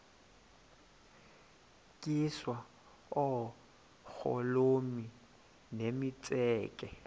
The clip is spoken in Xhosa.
tyiswa oogolomi nemitseke